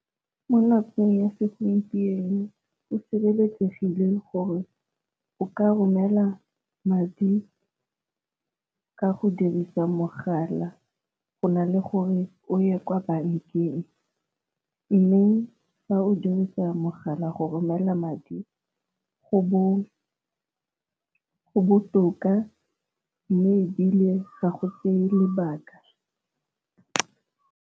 Mo nakong ya segompieno o sireletsegile gore o ka romela madi ka go dirisa mogala go na le gore o ye kwa bankeng, mme fa o dirisa mogala go romela madi go botoka mme ebile ga go tseye lebaka.